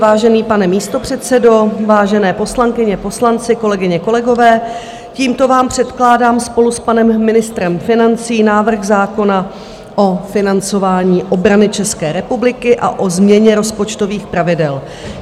Vážený pane místopředsedo, vážené poslankyně, poslanci, kolegyně, kolegové, tímto vám předkládám spolu s panem ministrem financí návrh zákona o financování obrany České republiky a o změně rozpočtových pravidel.